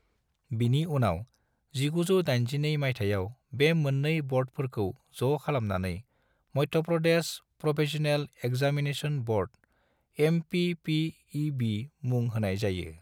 बिनि उनाव 1982 मायथाइयाव बे मोननै बोर्डफोरखौ ज' खालामनानै Madhya Pradesh professional examination board (एमपीपीईबी) बिमुं होनाय जायो।